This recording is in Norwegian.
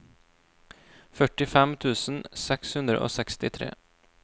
førtifem tusen seks hundre og sekstitre